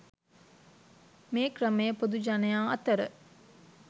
මේ ක්‍රමය පොදු ජනයා අතර